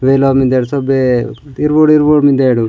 वेलामेन ओ में दर्शक वे इरबुड इरबुड मिन्देडु।